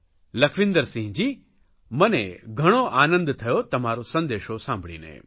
લખવિંદરસિંહજી મને ઘણો આનંદ થયો તમારો સંદેશો સાંભળીને